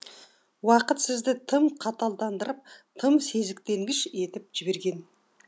уақыт сізді тым қаталдандырып тым сезіктенгіш етіп жіберген